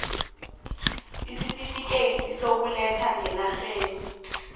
isitifikhethi sokuletha ngenarheni